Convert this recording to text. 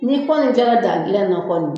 Ni kɔni kɛra daa dilan kɔni.